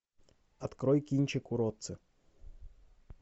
открой кинчик уродцы